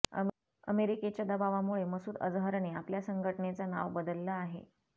अमेरिकेच्या दबावामुळे मसूद अजहरने आपल्या संघटनेचं नाव बदललं आहे